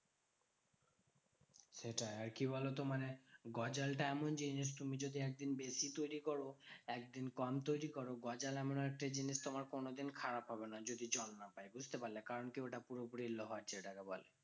সেটাই আর কি বলতো? মানে গজালটা এমন জিনিস তুমি যদি একদিন বেশি তৈরী করো। একদিন কম তৈরী করো। গজাল এমন একটা জিনিস তোমার কোনোদিন খারাপ হবে না। যদি জল না লাগে, বুঝতে পারলে? কারণ কি? ওটা পুরোপুরি লোহার যেটাকে বলে।